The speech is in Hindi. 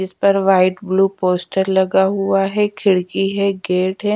इस पर वाइट ब्लू पोस्टर लगा हुआ है खिड़की है गेट है।